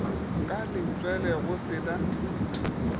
ka letswele go se na